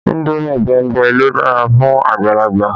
Indomi bẹ̀mbẹ̀ ló dára fún àgbàlagbà